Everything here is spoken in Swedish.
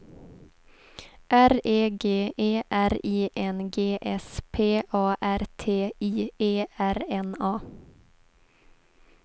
R E G E R I N G S P A R T I E R N A